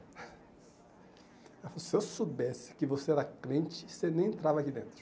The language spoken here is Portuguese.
Ela falou, se eu soubesse que você era crente, você nem entrava aqui dentro.